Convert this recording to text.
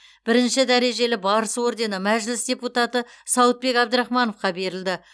бірінші дәрежелі барыс ордені мәжіліс депутаты сауытбек абдрахмановқа берілді